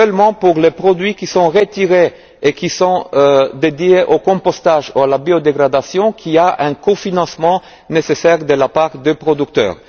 à 100 C'est seulement pour les produits qui sont retirés et qui sont dédiés au compostage ou à la biodégradation qu'un cofinancement est nécessaire de la part des producteurs.